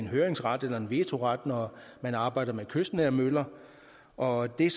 høringsret eller vetoret når man arbejder med kystnære møller og det er